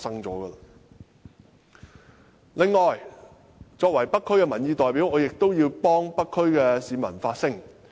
此外，作為北區的民意代表，我亦要代北區的市民發聲。